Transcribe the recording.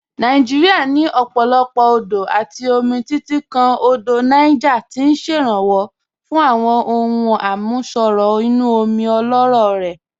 Nàìjíríà ní ọ̀pọ̀lọpọ̀ odò àti omi, títí kan Odò Niger tí ń ṣèrànwọ́ fún àwọn ohun àmúṣọrọ̀ inú omi ọlọ́rọ̀ rẹ̀.